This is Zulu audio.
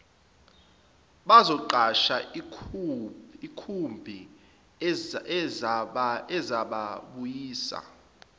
bazoqasha ikhumbi ezababuyisa